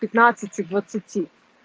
пятнадцати двадцати